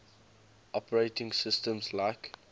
operating systems like